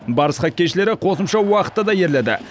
барыс хоккейшілері қосымша уақытта да ерледі